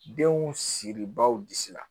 Denw siri baw disi la